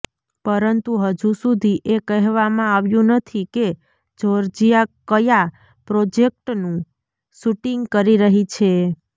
પરંતુ હજુ સુધી એ કહેવામાં આવ્યું નથી કે જોર્જિયા કયા પ્રોજેક્ટનું શૂટિંગ કરી રહી છે